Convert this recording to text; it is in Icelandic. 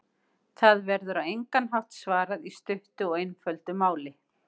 Þessu verður á engan hátt svarað í stuttu og einföldu máli.